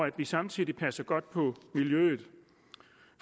at vi samtidig passer godt på miljøet